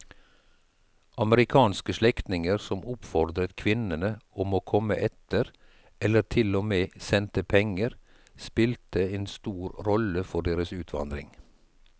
Amerikanske slektninger som oppfordret kvinnene om å komme etter eller til og med sendte penger spilte en stor rolle for deres utvandring.